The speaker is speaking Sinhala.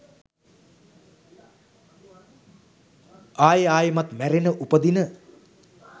අයෙ අයෙමත් මැරෙන උපදින